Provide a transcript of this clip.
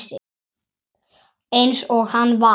Eins og hann var.